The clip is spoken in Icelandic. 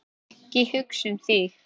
Ekki hugsa þig um.